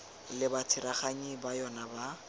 le batsereganyi ba yona ba